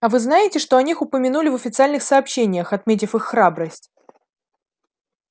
а вы знаете что о них упомянули в официальных сообщениях отметив их храбрость